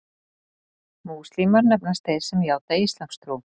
Múslímar nefnast þeir sem játa íslamstrú.